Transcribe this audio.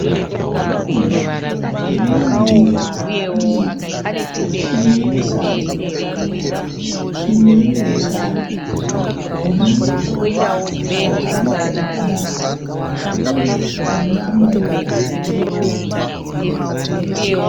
Zvokudya zvirimundiro mbiri, imwe ine sadza imwe ine usavi hune muto wakabikwa zvakanaka nenyama yehove.